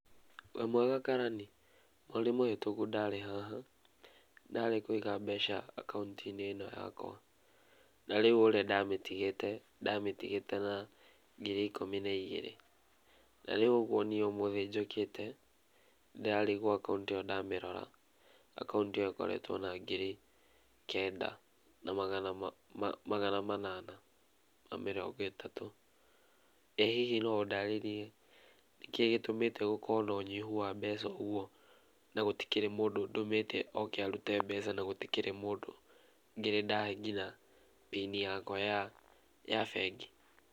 Wĩmwega karani, mweri mũhĩtũku ndarĩ haha ndarĩ kũiga mbeca akaũntinĩ ĩno yakwa, na rĩu ũrĩa ndamĩtigĩe ndamĩtigĩte na ngiri ikũmi na igĩrĩ, na rĩu nĩĩ ũguo nĩĩ ũmũthĩ njũkĩte ndĩrarigwo akaũnti ĩyo ndamĩrora akaũnti ĩyo ĩkoretwo na ngiri kenda na magana manana ma mĩrongo ĩtatũ, ĩ hihi no ũndarĩrie nĩkĩĩ gĩtũmĩte gũkorwo na ũnyihu wa mbeca ũguo na gũtikĩrĩ mũndũ ndũmĩte oke arute mbeca na gũtikĩrĩ mũndũ ngĩrĩ ndahe nginya mbini yakwa ya bengi.